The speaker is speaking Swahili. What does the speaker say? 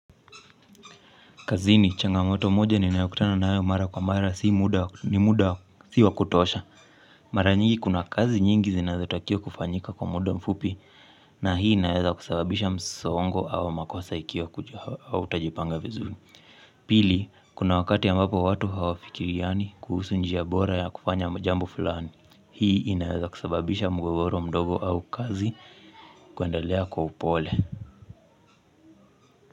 Kazini, changamoto moja ninayokutana nayo mara kwa mara ni muda si wakutosha. Mara nyingi kuna kazi nyingi zinazotakiwa kufanyika kwa muda mfupi na hii inaweza kusababisha msongo au makosa ikiwa hautajipanga vizuri. Pili, kuna wakati ambapo watu hawafikiriani kuhusu njia bora ya kufanya jambo fulani. Hii inaweza kusababisha mgogoro mdogo au kazi kuendelea kwa upole.